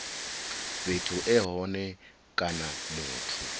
fhethu e hone kana muthu